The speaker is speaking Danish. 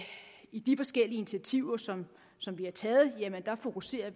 i de forskellige initiativer som som vi har taget fokuserer